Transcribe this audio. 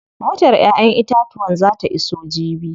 Motar ƴaƴen itatuwan zaa ta iso jibi.